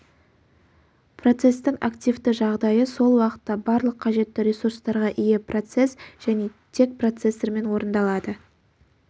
процестің активті жағдайы сол уақытта барлық қажетті ресурстарға ие процесс және тек процессормен орындалады